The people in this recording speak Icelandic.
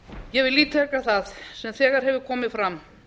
ég vil ítreka það sem þegar hefur komið fram